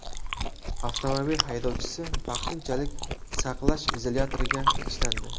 Avtomobil haydovchisi vaqtinchalik saqlash izolyatoriga tashlandi.